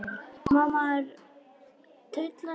Má maður tylla sér?